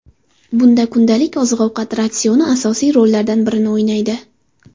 Bunda kundalik oziq-ovqat ratsioni asosiy rollardan birini o‘ynaydi.